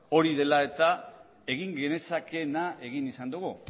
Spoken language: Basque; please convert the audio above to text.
hori dela eta egin genezakeena egin izan dugu